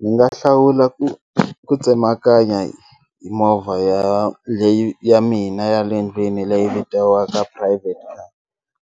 Ni nga hlawula ku ku tsemakanya hi movha ya leyi ya mina ya le ndlwini leyi vitiwaka private car